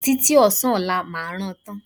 Títí ọ̀sán ọlá máa rán an tán